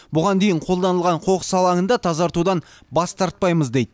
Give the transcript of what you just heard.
бұған дейін қолданылған қоқыс алаңын да тазартудан бас тартпаймыз дейді